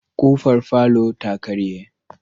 K'ofar falota karye.